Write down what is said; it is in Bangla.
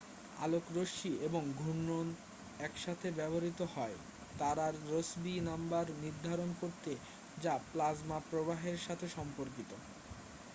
আলোকরশ্বি এবং ঘূর্ণন একসাথে ব্যবহৃত হয় তারার রসবি নাম্বার নির্ধারণ করতে যা প্লাজমা প্রবাহের সাথে সম্পর্কিত